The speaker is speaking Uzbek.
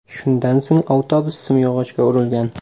Shundan so‘ng avtobus simyog‘ochga urilgan.